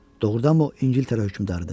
Doğrudanmı o İngiltərə hökmdarıdır?